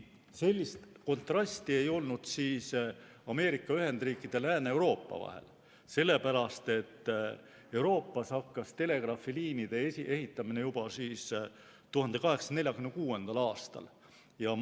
Sellist kontrasti ei olnud Ameerika Ühendriikide ja Lääne-Euroopa vahel, sellepärast et Euroopas algas telegraafiliinide ehitamine juba 1846. aastal.